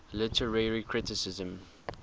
literary criticism